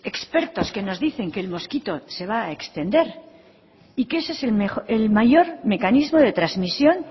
expertos que nos dicen que el mosquito se va a extender y que ese es el mayor mecanismo de transmisión